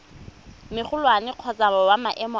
magolwane kgotsa wa maemo a